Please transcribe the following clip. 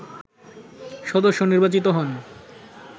সদস্য নির্বাচিত হন